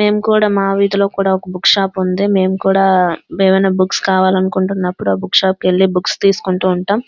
మేము కూడా మా వీధిలో కూడా ఒక పుస్తక దుకాణాలు ఉండి.